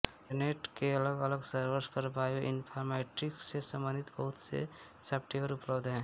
internet के अलग अलग सर्वर्स पर बायोइन्फॉर्मैटिक्स से संबंधित बहुत से सॉप्टवेयर उपलब्ध हैं